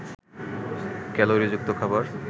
ক্যালোরিযুক্ত খাবার